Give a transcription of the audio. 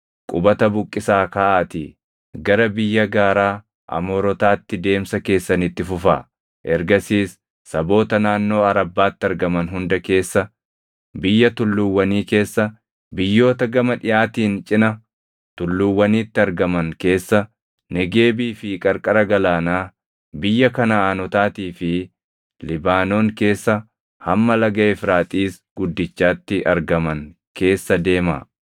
Qubata buqqisaa kaʼaatii gara biyya gaaraa Amoorotaatti deemsa keessan itti fufaa; ergasiis saboota naannoo Arabbaatti argaman hunda keessa, biyya tulluuwwanii keessa, biyyoota gama dhiʼaatiin cina tulluuwwaniitti argaman keessa, Negeebii fi qarqara galaanaa, biyya Kanaʼaanotaatii fi Libaanoon keessa hamma laga Efraaxiis guddichaatti argaman keessa deemaa.